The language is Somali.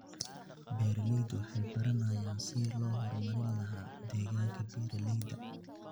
Beeraleydu waxay baranayaan sidii loo horumarin lahaa deegaanka beeralayda.